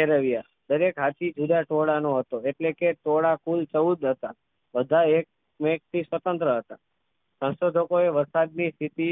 એ રહ્યા દરેક હાથી જુદા ટોળાં નો હતો ઍટલે કે ટોળાં કુલ ચૌદ હતા બધા એક મેક થી સ્વતંત્ર હતા સંશોધકો એ વરસાદ ની સ્થિતિ